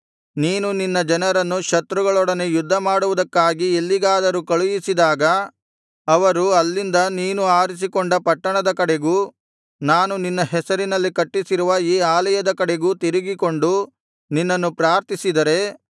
ನೀನು ನಿನ್ನ ಜನರನ್ನು ಶತ್ರುಗಳೊಡನೆ ಯುದ್ಧ ಮಾಡುವುದಕ್ಕಾಗಿ ಎಲ್ಲಿಗಾದರೂ ಕಳುಹಿಸಿದಾಗ ಅವರು ಅಲ್ಲಿಂದ ನೀನು ಆರಿಸಿಕೊಂಡ ಪಟ್ಟಣದ ಕಡೆಗೂ ನಾನು ನಿನ್ನ ಹೆಸರಿನಲ್ಲಿ ಕಟ್ಟಿಸಿರುವ ಈ ಆಲಯದ ಕಡೆಗೂ ತಿರುಗಿಕೊಂಡು ನಿನ್ನನ್ನು ಪ್ರಾರ್ಥಿಸಿದರೆ